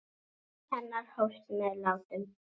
Líf hennar hófst með látum.